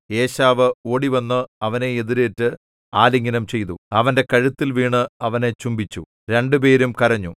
ഏശാവ് ഓടിവന്ന് അവനെ എതിരേറ്റ് ആലിംഗനം ചെയ്തു അവന്റെ കഴുത്തിൽ വീണ് അവനെ ചുംബിച്ചു രണ്ടുപേരും കരഞ്ഞു